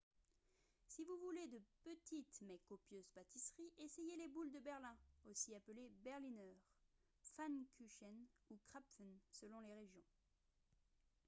si vous voulez de petites mais copieuses pâtisseries essayez les boules de berlin aussi appelées berliner pfannkuchen ou krapfen selon les régions